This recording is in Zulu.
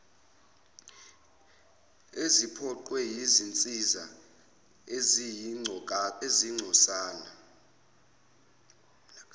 eziphoqwe yizinsiza eziyingcosana